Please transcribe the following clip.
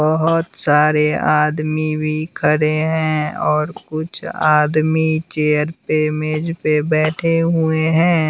बोहोत सारे आदमी भी खड़े हैं और कुछ आदमी चेयर पे मेज़ पे बैठे हुए हैं।